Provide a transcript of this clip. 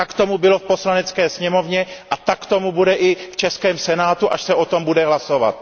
Tak tomu bylo v Poslanecké sněmovně a tak tomu bude i v českém Senátu, až se o tom bude hlasovat.